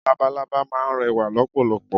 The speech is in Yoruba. Labalábá máa n rẹwà lọ́pọ̀lọpọ̀